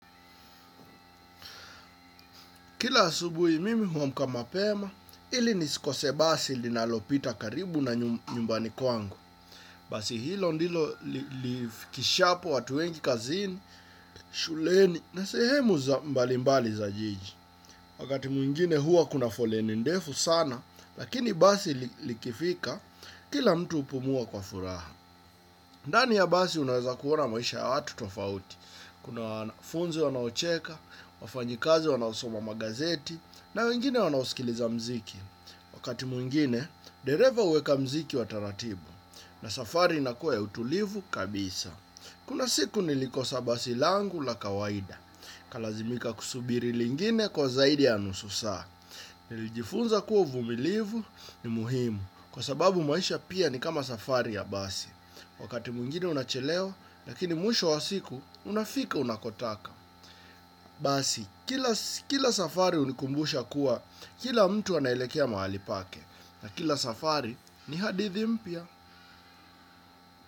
Kila asubuhi mimi huamka mapema, ili nisikose basi linalopita karibu na nyumbani kwangu. Basi hilo ndilo lifikishapo watu wengi kazini, shuleni, na sehemu mbali mbali za jiji. Wakati mwingine hua kuna foleni ndefu sana, lakini basi likifika, kila mtu hupumua kwa furaha. Ndani ya basi unaweza kuona maisha ya watu tofauti. Kuna wafunzi wanaocheka, wafanyikazi wanaosoma magazeti na wengine wanaosikiliza mziki. Wakati mwingine, dereva huweka muziki wa taratibu na safari inakua ya utulivu kabisa. Kuna siku nilikosa basi langu la kawaida. Nikalazimika kusubiri lingine kwa zaidi ya nusu saa. Nilijifunza kuwa uvumilivu ni muhimu kwa sababu maisha pia ni kama safari ya basi. Wakati mwingine unachelewa, lakini mwisho wa siku, unafika unakotaka. Basi, kila safari hunikumbusha kuwa, kila mtu anaelekea mahali pake. Na kila safari ni hadithi mpya.